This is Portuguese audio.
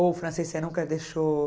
Ou o francês você nunca deixou?